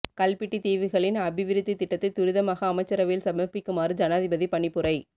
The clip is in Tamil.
கல்பிட்டி தீவுகளின் அபிவிருத்தி திட்டத்தை துரிதமாக அமைச்சரவையில் சமர்ப்பிக்குமாறு ஜனாதிபதி பணிப்புரை